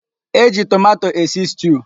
E ji tomato esi stiu.